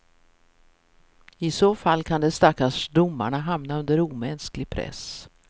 I så fall kan de stackars domarna hamna under omänsklig press.